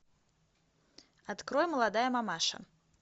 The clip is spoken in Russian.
открой молодая мамаша